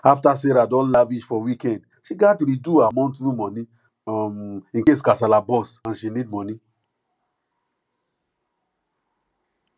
after sarah don lavish for weekend she gat re do her monthly money um incase kasala burst and she need money